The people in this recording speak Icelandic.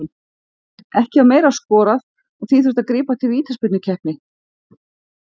Ekki var meira skorað og því þurfti að grípa til vítaspyrnukeppni.